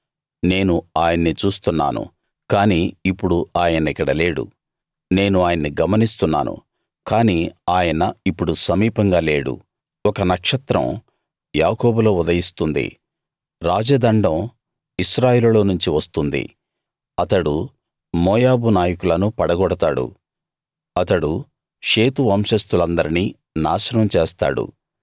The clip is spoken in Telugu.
నేను ఆయన్ని చూస్తున్నాను కాని ఇప్పుడు ఆయన ఇక్కడ లేడు నేను ఆయన్ని గమనిస్తున్నాను కాని ఆయన ఇప్పుడు సమీపంగా లేడు ఒక నక్షత్రం యాకోబులో ఉదయిస్తుంది రాజదండం ఇశ్రాయేలులోనుంచి వస్తుంది అతడు మోయాబు నాయకులను పడగొడతాడు అతడు షేతు వంశస్తులందరినీ నాశనం చేస్తాడు